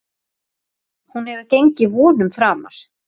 Hún hefur gengið vonum framar.